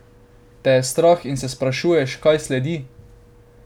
Te je strah in se sprašuješ, kaj sledi?